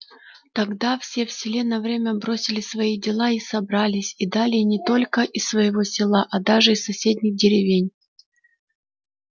тогда все в селе на время бросили свои дела и собрались и далее не только из своего села а даже из соседних деревень